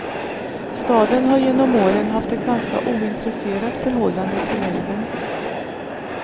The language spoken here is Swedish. Staden har genom åren haft ett ganska ointresserat förhållande till älven.